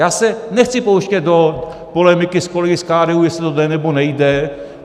Já se nechci pouštět do polemiky s kolegy z KDU, jestli to jde, nebo nejde.